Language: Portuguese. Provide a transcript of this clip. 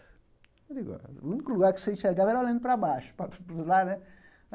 Eu digo ó o único lugar que você enxergava era olhando para baixo, para para os lados, né?